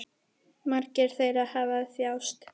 Margir þeirra hafa þjáðst.